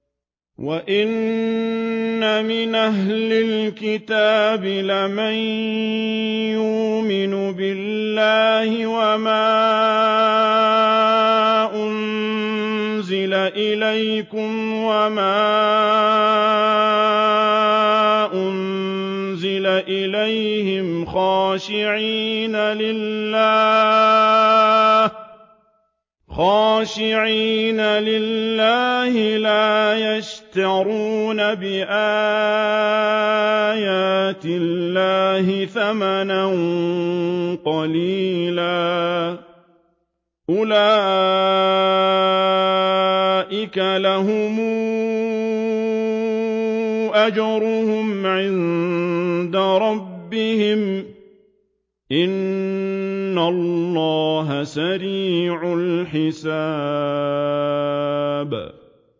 وَإِنَّ مِنْ أَهْلِ الْكِتَابِ لَمَن يُؤْمِنُ بِاللَّهِ وَمَا أُنزِلَ إِلَيْكُمْ وَمَا أُنزِلَ إِلَيْهِمْ خَاشِعِينَ لِلَّهِ لَا يَشْتَرُونَ بِآيَاتِ اللَّهِ ثَمَنًا قَلِيلًا ۗ أُولَٰئِكَ لَهُمْ أَجْرُهُمْ عِندَ رَبِّهِمْ ۗ إِنَّ اللَّهَ سَرِيعُ الْحِسَابِ